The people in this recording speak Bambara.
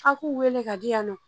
A' k'u wele ka di yan nɔ